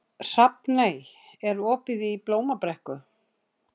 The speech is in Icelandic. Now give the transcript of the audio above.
Hrafney, er opið í Blómabrekku?